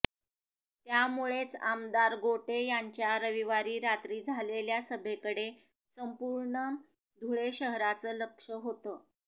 त्यामुळेच आमदार गोटे यांच्या रविवारी रात्री झालेल्या सभेकडे संपूर्ण धुळे शहराचं लक्ष होतं